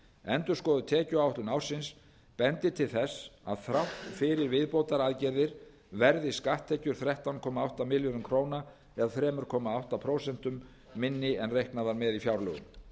endurskoðuð tekjuáætlun ársins bendir til þess að þrátt fyrir viðbótaraðgerðir verði skatttekjur þrettán komma átta milljörðum króna eða þrjú komma átta prósent minni en reiknað var með í fjárlögum